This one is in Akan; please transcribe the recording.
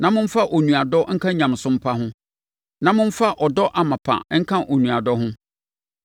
na momfa onuadɔ nka nyamesom pa ho, na momfa ɔdɔ amapa nka onuadɔ ho.